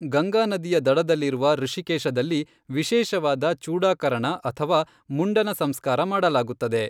ಗಂಗಾನದಿಯ ದಡದಲ್ಲಿರುವ ಋಷಿಕೇಶದಲ್ಲಿ ವಿಶೇಷವಾದ ಚೂಡಾಕರಣ ಅಥವಾ ಮುಂಡನ ಸಂಸ್ಕಾರ ಮಾಡಲಾಗುತ್ತದೆ.